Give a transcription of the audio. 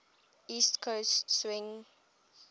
east coast swing